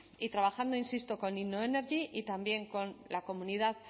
y trabajando insisto con innoenergy y también con la comunidad